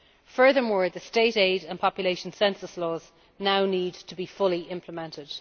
Furthermore, the State Aid and Population Census laws now need to be fully implemented.